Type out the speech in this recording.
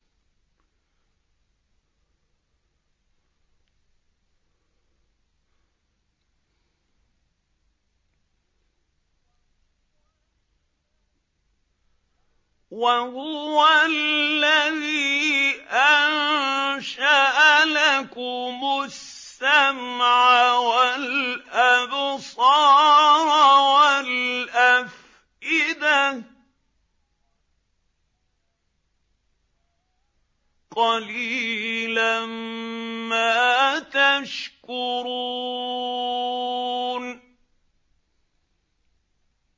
وَهُوَ الَّذِي أَنشَأَ لَكُمُ السَّمْعَ وَالْأَبْصَارَ وَالْأَفْئِدَةَ ۚ قَلِيلًا مَّا تَشْكُرُونَ